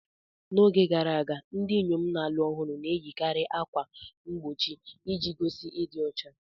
N'oge gara aga, ndị inyom na-alụ ọhụrụ na-eyikarị ákwà mgbochi iji gosi ịdị ọcha.